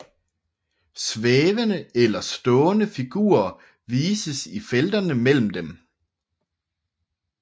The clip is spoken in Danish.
Svævende eller stående figurer vises i felterne mellem dem